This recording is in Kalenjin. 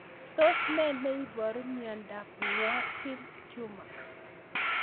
Tos nee neiparu miondop Warthin tumor